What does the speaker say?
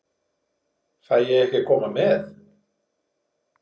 Fæ ég ekki að koma með?